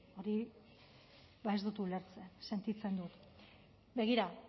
hori ba ez dut ulertzen sentitzen dut begira